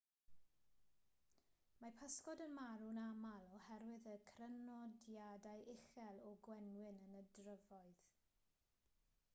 mae pysgod yn marw'n aml oherwydd y crynodiadau uchel o'r gwenwyn yn y dyfroedd